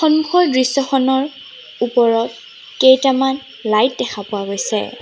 সন্মুখৰ দৃশ্যখনৰ ওপৰত কেইটামান লাইট দেখা পোৱা গৈছে।